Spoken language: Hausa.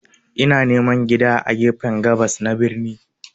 Ina neman gida a gefen gabas na birnin.